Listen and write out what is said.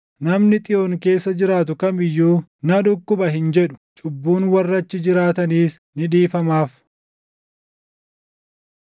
Namni Xiyoon keessa jiraatu kam iyyuu, “Na dhukkuba” hin jedhu; cubbuun warra achi jiraatanis ni dhiifamaaf.